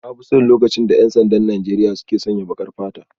Na fi son lokacin da 'yan sandan Najeriya suka sanya baƙar fata.